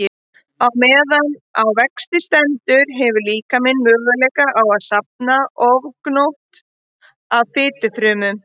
Á meðan á vexti stendur hefur líkaminn möguleika á að safna ofgnótt af fitufrumum.